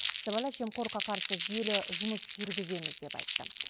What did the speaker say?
сыбайлас жемқорлыққа қарсы жүйелі жұмыс жүргіземіз деп айтты